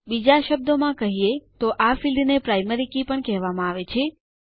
બીજા શબ્દોમાં કહીએ તો આ ફિલ્ડને પ્રાઇમરી કે પણ કહેવામાં આવે છે